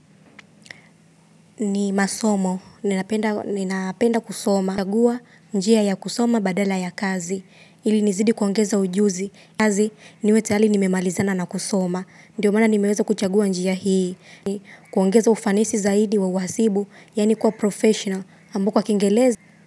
Ni masomo ninapenda kusoma, nachagua njia ya kusoma badala ya kazi ili nizidi kuongeza ujuzi, kazi tayari nimemalizana na kusoma, ndiyo maana nimeweza kuchagua njia hii, ni kuongeza ufanisi zaidi wa uhasibu yaani kuwa professional ambako kwa kiingereza.